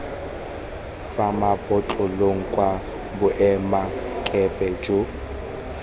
fa mabotlolong kwa boemakepe jo